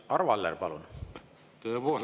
Arvo Aller, palun!